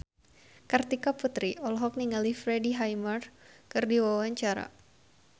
Kartika Putri olohok ningali Freddie Highmore keur diwawancara